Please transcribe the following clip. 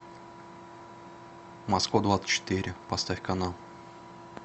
москва двадцать четыре поставь канал